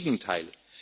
Im Gegenteil.